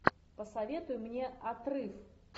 посоветуй мне отрыв